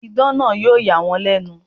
Idán náà yóò yà wọ́n lẹ̀nu.